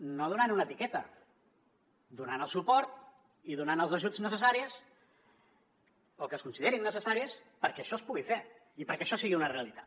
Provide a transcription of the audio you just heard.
no donant una etiqueta donant el suport i donant els ajuts necessaris o que es considerin necessaris perquè això es pugui fer i perquè això sigui una realitat